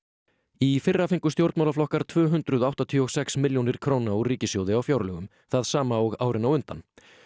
í fyrra fengu stjórnmálaflokkar tvö hundruð áttatíu og sex milljónir króna úr ríkissjóði á fjárlögum það sama og árin á undan